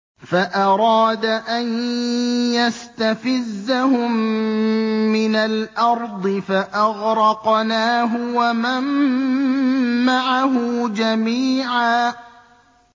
فَأَرَادَ أَن يَسْتَفِزَّهُم مِّنَ الْأَرْضِ فَأَغْرَقْنَاهُ وَمَن مَّعَهُ جَمِيعًا